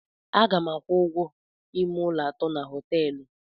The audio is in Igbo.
Aga m akwụ ụgwọ ime ụlọ atọ na hoteelu